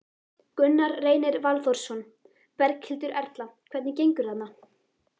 Gunnar Reynir Valþórsson: Berghildur Erla, hvernig gengur þarna?